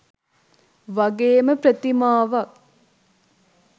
වගේම ප්‍රතිමාවක්